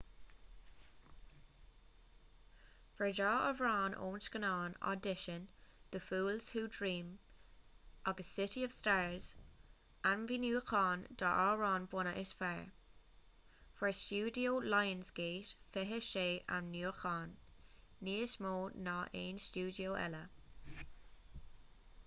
fuair ​​dhá amhrán ón scannán audition the fools who dream agus city of stars ainmniúcháin don amhrán bunaidh is fearr. fuair ​​stiúideo lionsgate 26 ainmniúchán — níos mó ná aon stiúideo eile